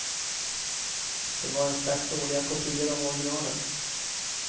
De var en slags dåliga kopior av originalen.